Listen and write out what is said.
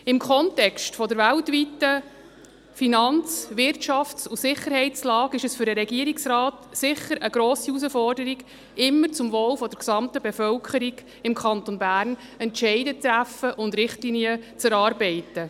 Im Kontext der weltweiten Finanz-, Wirtschafts- und Sicherheitslage ist es für den Regierungsrat sicher eine grosse Herausforderung, immer zum Wohl der gesamten Bevölkerung des Kantons Bern Entscheide zu treffen und Richtlinien zu erarbeiten.